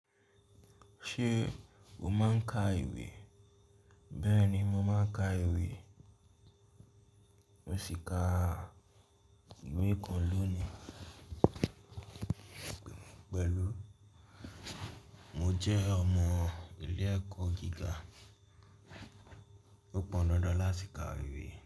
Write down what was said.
Ṣé o máa ń ka ìwé? Bẹ́ẹ̀ni, mo máa ń ka ìwé. Mo sì ka ìwé kan lónìí pẹ̀lú. Mo jẹ́ ọmọ ilé ẹ̀kọ́ gíga. Ó pọn dandan láti ka ìwé.